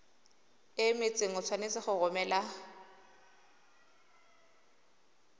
emetseng o tshwanetse go romela